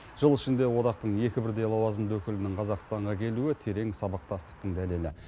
жыл ішінде одақтың екі бірдей лауазымды өкілінің қазақстанға келуі терең сабақтастықтың дәлелі